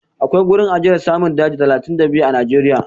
Akwai gurin ajiyar namun daji talatin da biyu a Najeriya.